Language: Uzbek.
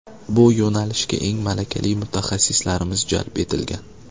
Bu yo‘nalishga eng malakali mutaxassislarimiz jalb etilgan.